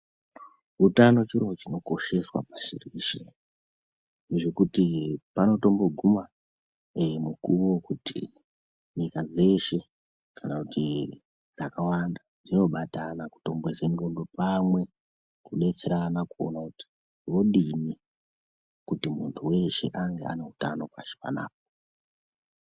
Utano chiro chinokosheswa pashi reshe ,zvekuti panotomboguma, ee mukuwo wokuti nyika dzeshe, kana kuti dzakawanda dzinobatana, kutomboise ndxondo pamwe kudetserana kuona kuti vodini, kuti muntu weshe ange ane utano pashi panapa.